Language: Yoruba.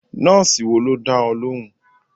Nọ́ọ̀sì wo ló dá ọ lóhùn?